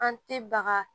An tɛ baga